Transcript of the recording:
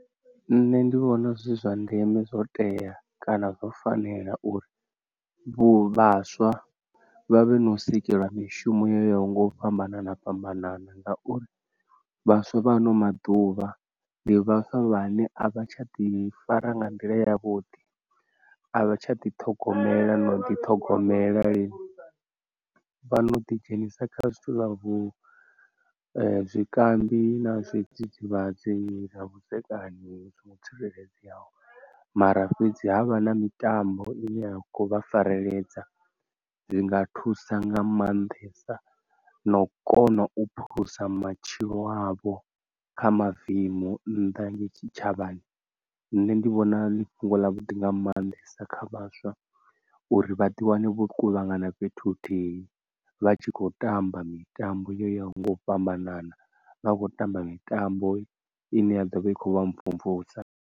Nṋe ndi vhona zwi zwa ndeme zwo tea kana zwo fanela uri vhu vhaswa vha vhe no sikelwa mishumo yo yaho nga u fhambanana fhambanana, ngauri vhaswa vha ano maḓuvha ndi vhaswa vhane a vha tsha ḓi fara nga nḓila yavhuḓi, a vha tsha ḓi ṱhogomela no ḓi ṱhogomela lini, vha no ḓi dzhenisa kha zwithu zwa vhu zwikambi na zwidzidzivhadzi na vhudzekani vhu songo tsireledzeaho, mara fhedzi havha na mitambo ine ya khou vha fareledza zwi nga thusa nga maanḓesa na u kona u phulusa matshilo avho kha mavemu nnḓa ngei tshitshavhani. Nṋe ndi vhona ḽi fhungo ḽa vhuḓi nga manḓesa kha vhaswa uri vhaḓi wane vho kuvhangana fhethu huthihi, vha tshi khou tamba mitambo yo yaho nga u fhambanana, vha khou tamba mitambo ine ya ḓovha ikho vha mvumvusa.